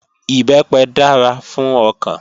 Ìbẹ́pẹ dára fún ọkàn